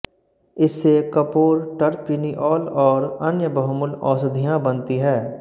इससे कपूर टरपिनिऑल और अन्य बहुमूल्य औषधियाँ बनती है